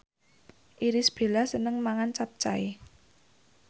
Irish Bella seneng mangan capcay